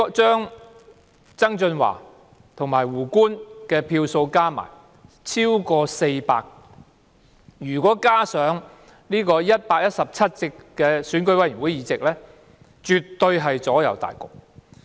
曾俊華和"胡官"的票數加起來超過400票，如果加上117席區議會選委會議席，絕對能夠左右大局。